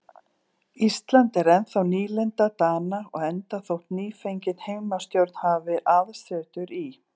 Ísland er ennþá nýlenda Dana og enda þótt nýfengin heimastjórn hafi aðsetur í